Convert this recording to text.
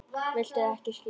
Viltu ekki skyr?